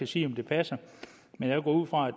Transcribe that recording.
sige om det passer men jeg går ud fra